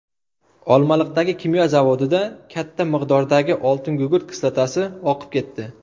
Olmaliqdagi kimyo zavodida katta miqdordagi oltingugurt kislotasi oqib ketdi.